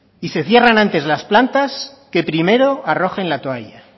y se cierran antes las plantas que primero arrojen la toalla